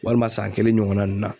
Walima san kelen ɲɔgɔnna nunnu na